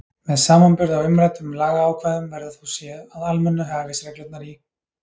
Með samanburði á umræddum lagaákvæðum verður þó séð, að almennu hæfisreglurnar í